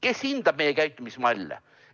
Kes hindab meie käitumismalle?